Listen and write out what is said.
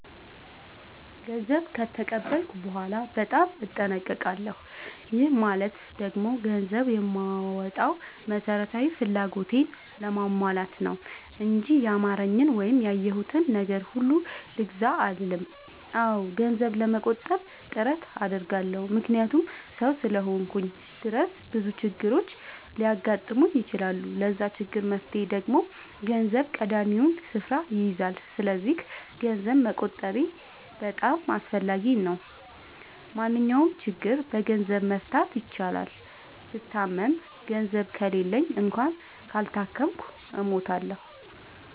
ገንዘብ ከተቀበልኩ በኋላ በጣም እጠነቀቃለሁ። ይህ ማለት ደግሞ ገንዘብ የማወጣው መሠረታዊ ፍላጎቴን ለማሟላት ነው እንጂ ያማረኝን ወይም ያየሁትን ነገር ሁሉ ልግዛ አልልም። አዎ ገንዘብ ለመቆጠብ ጥረት አደርጋለሁ። ምክንያቱም ሠው እስከሆንኩኝ ድረስ ብዙ ችግሮች ሊያጋጥሙኝ ይችላሉ። ለዛ ችግር መፍትሄ ደግሞ ገንዘብ ቀዳሚውን ስፍራ ይይዛል። ሰስለዚክ ገንዘብ መቆጠቤ በጣም አስፈላጊ ነው። ማንኛውንም ችግር በገንዘብ መፍታት ይቻላል። ብታመም ገንዘብ ከሌለኝ እና ካልታከምኩ እሞታሁ።